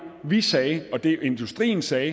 vi sagde og det industrien sagde